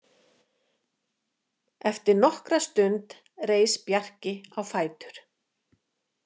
Eftir nokkra stund reis Bjarki á fætur.